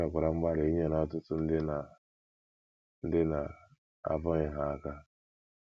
E mekwara mgbalị inyere ọtụtụ ndị na - ndị na - abụghị Ha aka.